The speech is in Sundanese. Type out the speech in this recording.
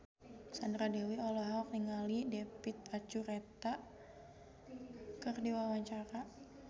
Sandra Dewi olohok ningali David Archuletta keur diwawancara